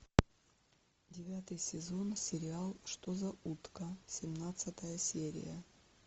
девятый сезон сериал что за утка семнадцатая серия